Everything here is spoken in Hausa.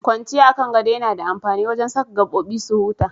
Kwanciya a kan gado yana da amfani wajen saka gabobi su huta.